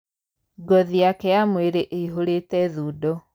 Ngothi yake ya mwĩrĩ ĩihũrĩte thundo.